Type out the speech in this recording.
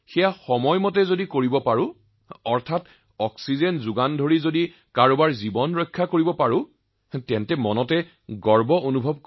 আমাৰ অক্সিজেনৰ দ্বাৰা যদি কোনোবাই জীৱন লাভ কৰে তেন্তে এয়া আমাৰ বাবে অতিশয় গৌৰৱৰ কথা